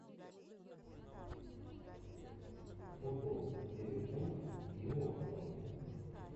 футбол ливерпуль и уотфорд